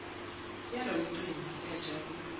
yalo mcimbi siyajabula